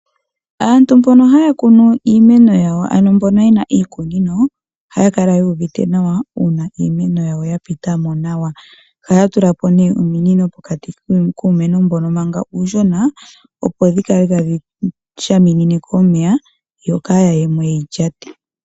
Aantu mbono haya kunu iimeno yawo ano mbono ye na iikunino ohaya kala yu uvite nawa uuna iimeno yawo ya pita mo nawa. Ohaya tula po nee ominino pokati kuumeno mbono manga uushona, opo dhi kale tadhi shaminine ko omeya yo kaaya ye mo ye yi lyate.